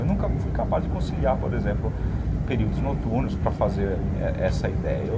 Eu nunca fui capaz de conciliar, por exemplo, em períodos noturnos para fazer essa essa ideia.